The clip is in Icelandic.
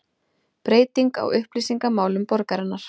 Breyting á upplýsingamálum borgarinnar